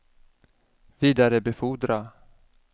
vidarebefordra